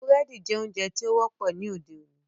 Búrẹ́dì jẹ́ oúnjẹ tí ó wọ́pọ̀ ní òde-òní.